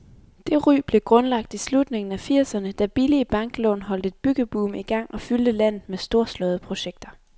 Det ry blev grundlagt i slutningen af firserne, da billige banklån holdt et byggeboom i gang og fyldte landet med storslåede projekter.